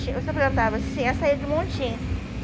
Você plantava assim, ia sair de montim